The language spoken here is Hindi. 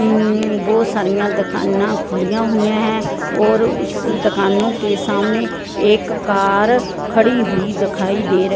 उम्म बहुत सारीयां दुकाना खुल्लियां होइयां है और उस दुकानों के सामने एक कार खड़ी हुई दिखाई दे र--